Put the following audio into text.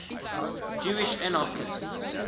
jewish anarchists